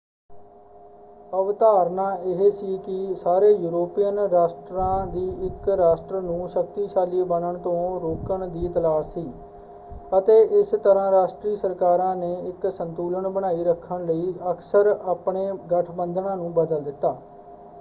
ਅਵਧਾਰਨਾ ਇਹ ਸੀ ਕਿ ਸਾਰੇ ਯੂਰੋਪੀਅਨ ਰਾਸ਼ਟਰਾਂ ਦੀ ਇਕ ਰਾਸ਼ਟਰ ਨੂੰ ਸ਼ਕਤੀਸ਼ਾਲੀ ਬਣਨ ਤੋਂ ਰੋਕਣ ਦੀ ਤਲਾਸ਼ ਸੀ ਅਤੇ ਇਸ ਤਰ੍ਹਾਂ ਰਾਸ਼ਟਰੀ ਸਰਕਾਰਾਂ ਨੇ ਇਕ ਸੰਤੁਲਨ ਬਣਾਈ ਰੱਖਣ ਲਈ ਅਕਸਰ ਆਪਣੇ ਗਠਬੰਧਨਾਂ ਨੂੰ ਬਦਲ ਦਿੱਤਾ।